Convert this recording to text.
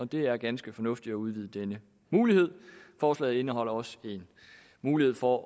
det er ganske fornuftigt at udvide denne mulighed forslaget indeholder også en mulighed for